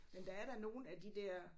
Men der er da nogle af de der